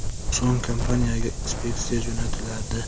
So‘ng kompaniyaga inspeksiya jo‘natiladi.